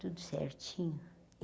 Tudo certinho.